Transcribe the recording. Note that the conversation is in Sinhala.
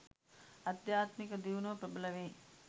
ආධ්‍යාත්මික දියුණුව ප්‍රබල වේ